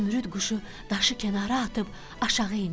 Zümrüd quşu daşı kənara atıb aşağı indi.